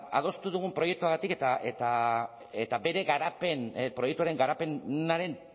adostu dugun proiektuagatik eta bere garapen proiektuaren garapenaren